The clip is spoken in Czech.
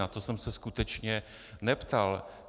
Na to jsem se skutečně neptal.